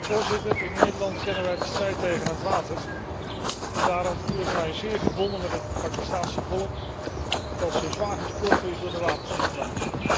Voorzitter, in Nederland kennen wij de strijd tegen het water en daarom voel ik mij zeer verbonden met het Pakistaanse volk, dat zo zwaar getroffen is door de watersnoodramp.